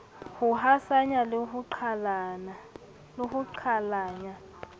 ho hasanya le ho qhalanya